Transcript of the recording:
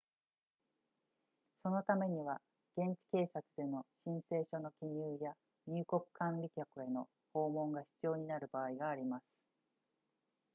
そのためには現地警察での申請書の記入や入国管理局への訪問が必要になる場合があります